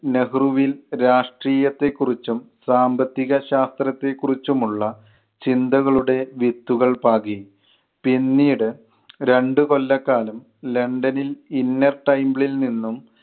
നെഹ്‌റുവിൽ രാഷ്ട്രീയത്തെ കുറിച്ചും സാമ്പത്തിക ശാസ്ത്രത്തെ കുറിച്ചും ഉള്ള ചിന്തകളുടെ വിത്തുകൾ പാകി. പിന്നീട് രണ്ടുകൊല്ല കാലം ലണ്ടനിൽ inner timble ൽ നിന്നും